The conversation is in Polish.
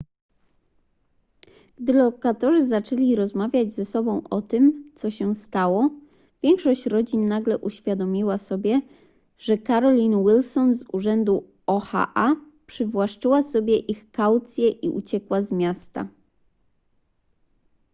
gdy lokatorzy zaczęli rozmawiać ze sobą o tym co się stało większość rodzin nagle uświadomiła sobie że carolyn wilson z urzędu oha przywłaszczyła sobie ich kaucje i uciekła z miasta